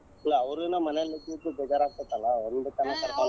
ಇಲ್ಲಾ ಅವರುನು ಮನೆಲಿದ್ದಿದ್ದು ಬೇಜಾರ್ ಆಗತೆತಲಾ ಒಂದ್ ಸಲಾ ಕರ್ಕೊಂಡ್.